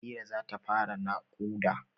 Halira za ta fara naƙuda.